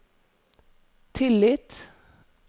tillit